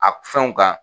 A fɛnw kan